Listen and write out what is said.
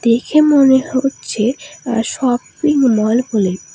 দেখে মনে হচ্ছে আ শপিংমল হলেও--